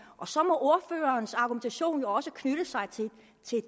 og så må ordførerens argumentation jo også knytte sig til